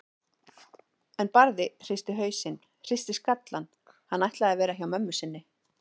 En Barði hristi hausinn, hristi skallann, hann ætlaði að vera hjá mömmu sinni.